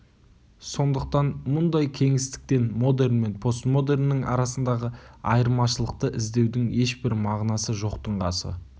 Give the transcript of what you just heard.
сондықтан мұндай кеңістіктен модерн мен постмодерннің арасындағы айырмашылықты іздеудің ешбір мағынасы жоқтың қасы